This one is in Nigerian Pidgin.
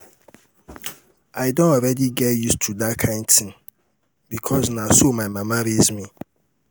um i don already get used to dat um kyn thing because na so my mama raise me